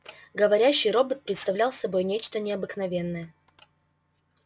говорящий робот представлял собой нечто необыкновенное